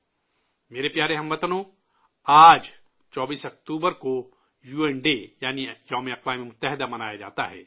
میرے پیارے ہم وطنو، آج 24 اکتوبر کو یو این ڈے، یعنی 'اقوام متحدہ کا دن' منایا جاتا ہے